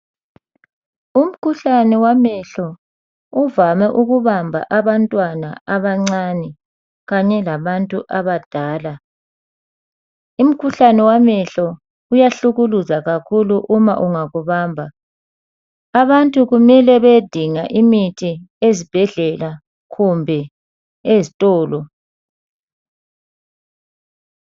Umkhuhlane wamehlo uvame ukubamba abantwana abancane kanye labantu abadala. Umkhuhlane wamehlo uyahlukuluza kakhulu uma ungakubamba. Abantu kumele bayedinga imithi ezibhedlela kumbe ezitolo